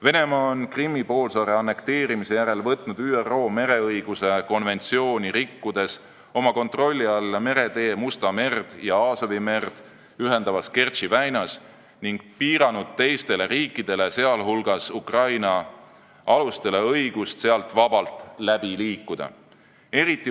Venemaa on Krimmi poolsaare annekteerimise järel võtnud ÜRO mereõiguse konventsiooni rikkudes oma kontrolli alla meretee Musta merd ja Aasovi merd ühendavas Kertši väinas ning piiranud teiste riikide laevade, sh Ukraina aluste õigust sealt vabalt läbi liikuda.